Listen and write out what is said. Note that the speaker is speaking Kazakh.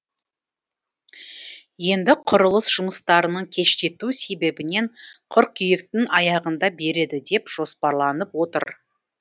енді құрылыс жұмыстарының кештету себебінен қыркүйектің аяғында береді деп жоспарланып отыр